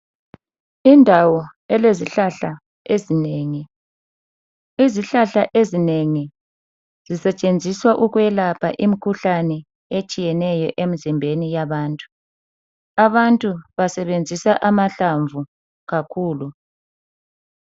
Indawo elezihlahla ezinengi. Izihlahla ezinengi zisetshenziswa ukwelapha imkhuhlane etshiyeneyo emzimbeni yabantu. Abantu basebenzisa amahlamvu kakhulu.